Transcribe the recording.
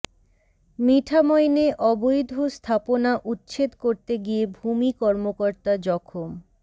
মিঠামইনে অবৈধ স্থাপনা উচ্ছেদ করতে গিয়ে ভূমি কর্মকর্তা জখম